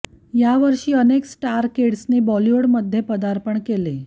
या वर्षी अनेक स्टार किड्सनी बॉलिवूडमध्ये पदार्पण केले